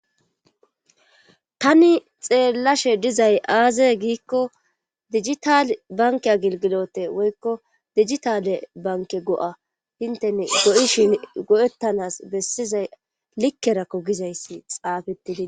tani xeellashe dizay aaze giikko digitale banke a gilgilote woykko digitale banke go7a hintene go7ishin go7ettanas bessizay likkerakko gizayssi xaafettidii